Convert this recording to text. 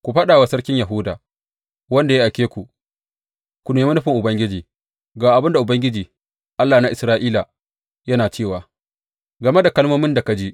Ku faɗa wa sarkin Yahuda, wanda ya aike ku ku nemi nufin Ubangiji, Ga abin da Ubangiji, Allah na Isra’ila yana cewa game da kalmomin da ka ji.